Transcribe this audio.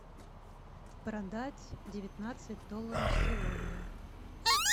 продать девятнадцать долларов сегодня